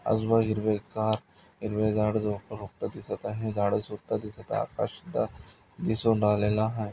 आजू बाजू हिरवेगार हिरवे झाडंझुडपं रोपट दिसत आहे झाड सुद्धा दिसत आहे आकाश सुद्धा दिसून राहिलेला आहे.